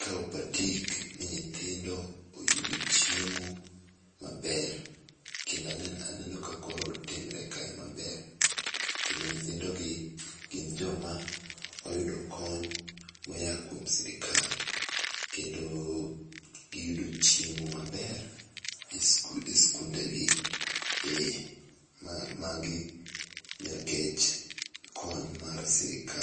kawo patik ni nyithindo oyudo chiemo maber kendo aneno ka koro katimre kae maber kendo nyithindo gi gin jo ma oyudo kony ma oa kuom sirkal kendo gi yudo chiemo maber e sikunde gi ,ma gi nikech kony mar sirkal.